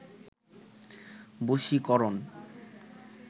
বশীকরন